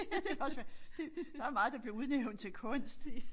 Det kan også være det der meget der bliver udnævnt til kunst